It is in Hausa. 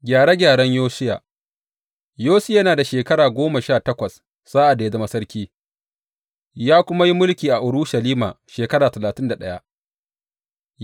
Gyare gyaren Yosiya Yosiya yana da shekara goma sha takwas sa’ad da ya zama sarki, ya kuma yi mulki a Urushalima shekara talatin da ɗaya.